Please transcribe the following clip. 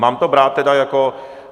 Mám to brát tedy jako...